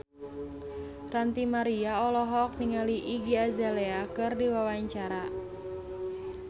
Ranty Maria olohok ningali Iggy Azalea keur diwawancara